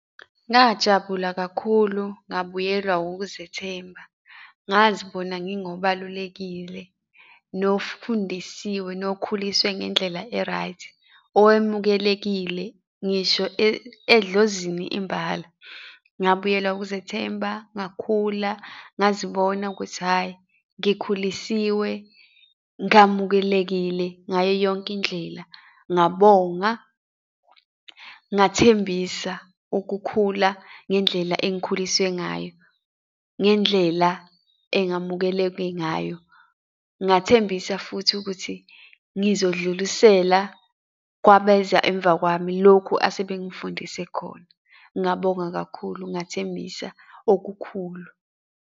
Ngajabula kakhulu, ngabuyelwa wukuzethemba, ngazibona ngingobalulekile, nofundisiwe, nokukhuliswe ngendlela e-right, owamukelekile ngisho edlozini imbala. Ngabuyelwa ukuzethemba, ngakhula, ngazibona ukuthi, hhayi, ngikhulisiwe, ngamukelekile ngayo yonke indlela, ngabonga, ngathembisa ukukhula ngendlela engikhuliswe ngayo, ngendlela engamukeleke ngayo. Ngathembisa futhi ukuthi ngizodlulisela kwabeza emva kwami, lokhu asebengifundise khona. Ngabonga kakhulu ngathembisa okukhulu.